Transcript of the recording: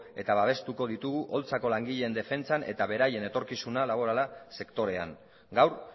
eta babestuko ditugu holtzako langileen defentsan eta beraien etorkizuna laborala sektorean gaur